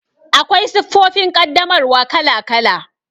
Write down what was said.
Akwai siffofin ƙaddamarwa kala kala.